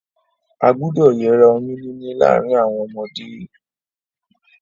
A gbúdọ̀ yera oyún níní láàrin àwon ọmọdé